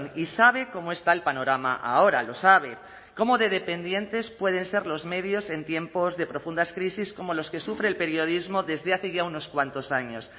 y sabe cómo está el panorama ahora lo sabe cómo de dependientes pueden ser los medios en tiempos de profundas crisis como los que sufre el periodismo desde hace ya unos cuantos años